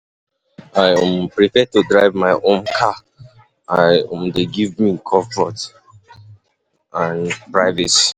I um prefer to drive my um car, e um dey give me comfort and privacy.